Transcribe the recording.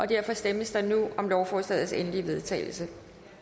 derfor stemmes der nu om lovforslagets endelige vedtagelse